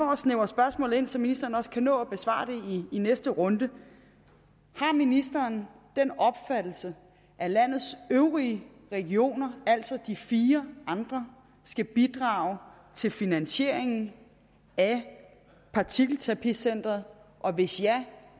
mig snævre spørgsmålet helt ind så ministeren kan nå at besvare det i næste runde har ministeren den opfattelse at landets øvrige regioner altså de fire andre skal bidrage til finansieringen af partikelterapicenteret og hvis ja